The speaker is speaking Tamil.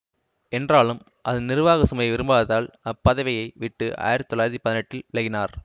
என்றாலும் அதன் நிறுவாகச் சுமையை விரும்பாததால் அப்பதவியை விட்டு ஆயிரத்தி தொள்ளாயிரத்தி பதினெட்டில் விலகினார்